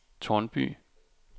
Tårnby